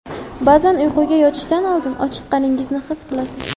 Ba’zan uyquga yotishdan oldin ochiqqaningizni his qilasiz.